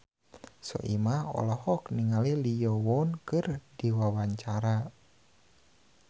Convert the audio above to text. Soimah olohok ningali Lee Yo Won keur diwawancara